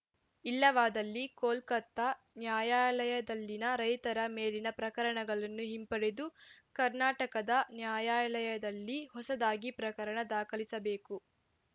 ಇಲ್ಲವಾದಲ್ಲಿ ಕೋಲ್ಕತಾ ನ್ಯಾಯಾಲಯದಲ್ಲಿನ ರೈತರ ಮೇಲಿನ ಪ್ರಕರಣಗಳನ್ನು ಹಿಂಪಡೆದು ಕರ್ನಾಟಕದ ನ್ಯಾಯಾಲಯದಲ್ಲಿ ಹೊಸದಾಗಿ ಪ್ರಕರಣ ದಾಖಲಿಸಬೇಕು